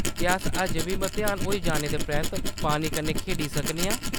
क्या अस अजें बी मतेहान होई जाने दे परैंत्त पानी कन्नै खेढी सकने आं ?